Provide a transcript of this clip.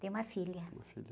Tem uma filha.